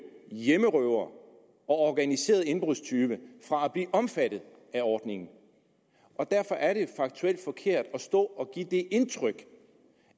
hjemmerøvere og organiserede indbrudstyve fra at blive omfattet af ordningen derfor er det faktuelt forkert at stå og give det indtryk